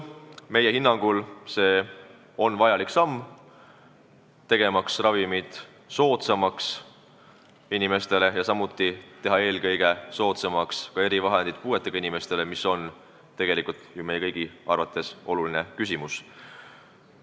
Meie hinnangul see on vajalik samm, tegemaks ravimid inimestele soodsamaks ja eelkõige teha erivahendid puuetega inimestele soodsamaks, mis on tegelikult ju meie kõigi arvates oluline eesmärk.